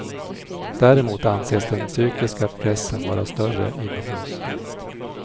Däremot anses den psykiska pressen vara större inomhus.